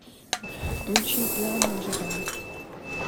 включи плавно джиган